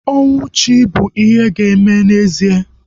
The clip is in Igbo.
Ọnwụ chi bụ ihe ga-eme n'ezie